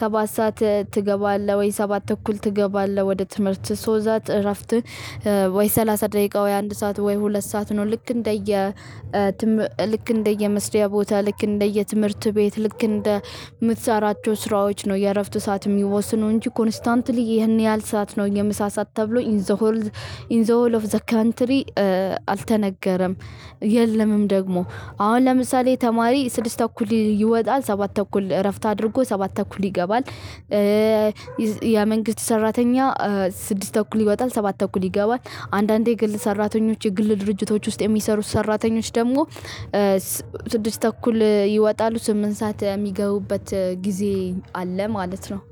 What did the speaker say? ሰባት ሰዓት ትገባለህ ወይ ሰባት እኩል ትገባለህ? ወደ ትምህርት ሶ ዛት እረፍትህ ወይ ሰላሳ ደቂቃ ወይ አንድ ሰዓት ወይ ሁለት ሰዓት ነው። ልክ እንደየ ልክ እንደየመስሪያ ቦታ ልክ እንደየ ትምህርት ቤት ልክ እንደምትሰራቸው ስራዎች ነው። የእረፍት ሰዓት የሚወስኑ እንጂ ኮንስታንትሊ ይህን ያህል ሰዓት ነው የምሳ ሰዓት ተብሎ ኢን ዘ ሆል። ኢን ዘ ሆል ኦፍ ዘ ካንትሪ። አልተነገረም። የለምም ደግሞ አሁን ለምሳሌ ተማሪ ስድስት ተኩል ይወጣል ሰባት ተኩል እረፍት አድርጎ ሰባት ተኩል ይገባል። ያ መንግስት ሰራተኛ ስድስት እኩል ይወጣል ሰባት እኩል ይገባል። አንዳንዴ የግል ሰራተኞች የግል ድርጅቶች ውስጥ የሚሰሩት ሰራተኞች ደግሞ ስድስት ተኩል ይወጣሉ ስምንት ሰዓት የሚገቡበት ጊዜ አለ ማለት ነው